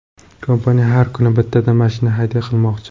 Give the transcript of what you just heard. Kompaniya har kuni bittadan mashina hadya qilmoqchi.